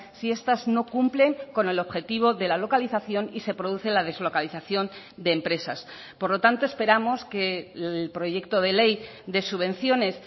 si estas no cumplen con el objetivo de la localización y se produce la deslocalización de empresas por lo tanto esperamos que el proyecto de ley de subvenciones